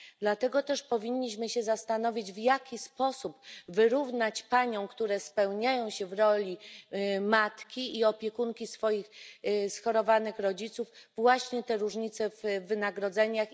Dlatego też powinniśmy się zastanowić, w jaki sposób wyrównać paniom, które spełniają się w roli matki i opiekunki swoich schorowanych rodziców, właśnie te różnice w wynagrodzeniach.